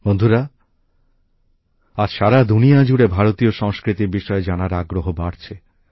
বন্ধুরা আজ সারা দুনিয়া জুড়ে ভারতীয় সংস্কৃতির বিষয়ে জানার আগ্রহ বাড়ছে